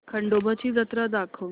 खंडोबा ची जत्रा दाखवच